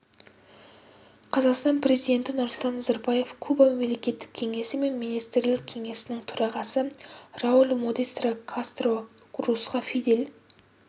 қазақстан президенті нұрсұлтан назарбаев куба мемлекеттік кеңесі мен министрлер кеңесінің төрағасы рауль модестро кастро русқа фидель